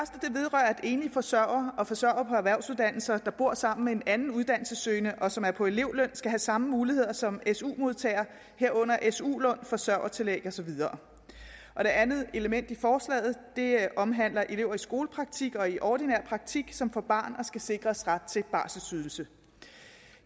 at enlige forsørgere og forsørgere på erhvervsuddannelser der bor sammen med en anden uddannelsessøgende og som er på elevløn skal have samme muligheder som su modtagere herunder su lån forsørgertillæg og så videre og det andet element i forslaget omhandler at elever i skolepraktik og i ordinær praktik som får et barn skal sikres ret til barselsydelse